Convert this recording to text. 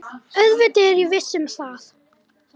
Auðvitað er ég viss um það.